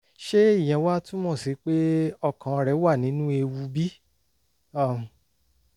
ṣé ìyẹn wá túmọ̀ sí pé ọkàn rẹ̀ wà nínú ewu bí? um